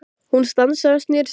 Hersir Aron: Ertu mikið í því?